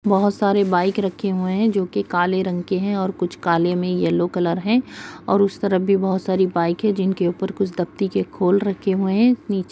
बहोत सारे बाइक रखे हुए है जो कि काले रंग के हैं और कुछ काले में येलो कलर है और उस तरफ भी बहोत सारी बाइक है जिनके ऊपर कुछ खोल रखे हुए हैं नीचे--